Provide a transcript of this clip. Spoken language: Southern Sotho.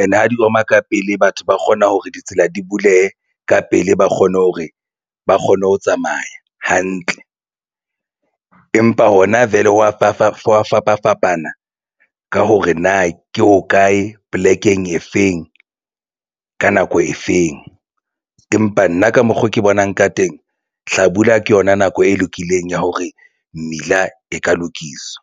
and ha di oma ka pele. Batho ba kgona hore ditsela di bulehe ka pele ba kgone hore ba kgone ho tsamaya hantle empa hona vele ho wa fapafapana ka hore na ke hokae polekeng e feng ka nako e feng. Empa nna ka mokgo ke bonang ka teng hlabula ke yona nako e lokileng ya hore mmila e ka lokiswa.